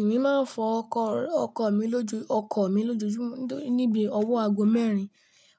Èmi máa ń fọ ọkọ̀ mi lóju, ọkọ̀ mi lójoojúmọ́ nítorí níbi ọwọ́ ago mẹ́rin